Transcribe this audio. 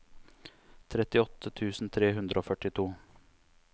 trettiåtte tusen tre hundre og førtito